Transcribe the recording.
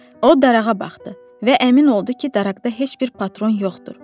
O darağa baxdı və əmin oldu ki, daraqda heç bir patron yoxdur.